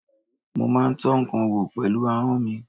Mo má ń tọ́ ǹkan wò pẹ̀lú ahọ́n mi.